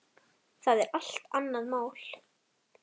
Það er allt annað mál.